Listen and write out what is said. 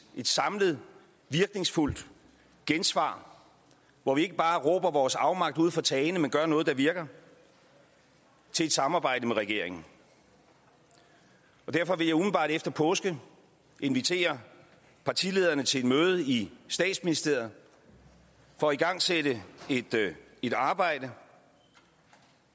samlet virkningsfuldt gensvar hvor vi ikke bare råber vores afmagt ud fra tagene men gør noget der virker til et samarbejde med regeringen derfor vil jeg umiddelbart efter påske invitere partilederne til et møde i statsministeriet for at igangsætte et arbejde